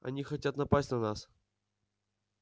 они хотят напасть на нас